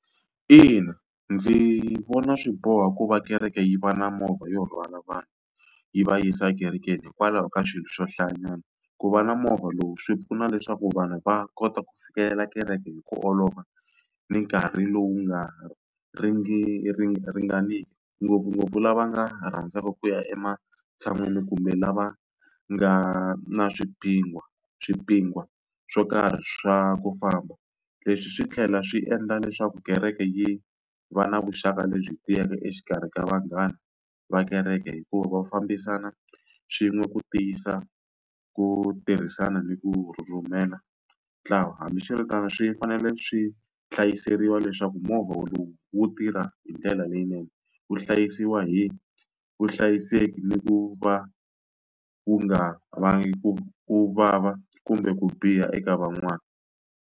Ina ndzi vona swi boha ku va kereke yi va na movha yo rhwala vanhu yi va yisa ekerekeni hikwalaho ka swilo swo hlayanyana. Ku va na movha lowu swi pfuna leswaku vanhu va kota ku fikelela kereke hi ku olova, ni nkarhi lowu nga ringaniki. Ngopfungopfu lava nga rhandzaku ku ya ematshan'wini kumbe lava nga na swipingwa swo karhi swa ku famba. Leswi swi tlhela swi endla leswaku kereke yi va na vuxaka lebyi tiyeke exikarhi ka vanghana va kereke hikuva va fambisana swin'we ku tiyisa ku tirhisana ni ku rhurhumela ntlawa. Hambiswiritano swi fanele swi hlayiseriwa leswaku movha lowu wu tirha hi ndlela leyinene, wu hlayisiwa hi vuhlayiseki ni ku va wu nga vanga ku ku vava kumbe ku biha eka van'wana.